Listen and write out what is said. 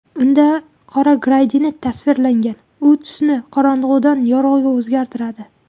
Unda qora gradiyent tasvirlangan, u tusini qorong‘udan yorug‘ga o‘zgartiradi.